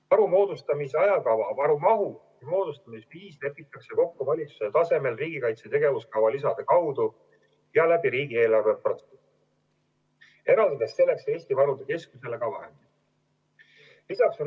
Varu moodustamise maht, ajakava ja moodustamise viis lepitakse kokku valitsuse tasemel riigikaitse tegevuskava lisade kaudu ja riigieelarve protsessis, eraldades selleks Eesti Varude Keskusele ka vahendid.